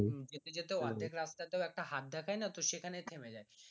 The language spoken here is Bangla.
যেতে যেতে অর্ধেক রাস্তায় তে হাত দেখানা তো সেইখানে ও থেমে যাই